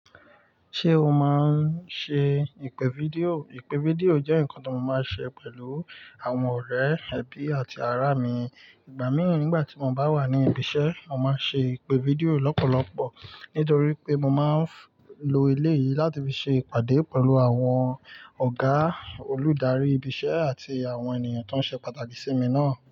Ṣé o máa ń ṣe ìpè fídíò? Ìpè fídíò jẹ́ nǹkan ti mo máa ń ṣe pẹ̀lú àwọn ọ̀rẹ́, ẹbí àti ará mi. Ìgbà mìíràn nígbà tí mo bá wà ní ibi iṣẹ́, mo máa ń ṣe ìpè fídíò lọ́pọ̀lọpọ̀ nítorí pé mo máa ń lo elé yìí láti fi ṣe ìpàdé pẹ̀lú àwọn ọ̀gá olùdarí ibi iṣẹ́ àti àwọn ènìyàn tó ṣe pàtàkì sí mi náà.